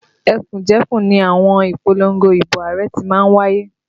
Ẹkùnjẹkùn ni àwọn ìpolongo ibo Ààrẹ ti má ń wáyé